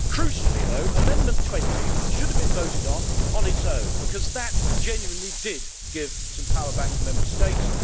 Crucially, though, Amendment 20 should have been voted on on its own, because that genuinely did give some power back to Member States.